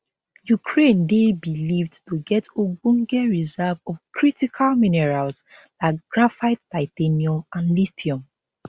ukraine dey believed to get ogbonge reserve of critical minerals like graphite titanium and lithium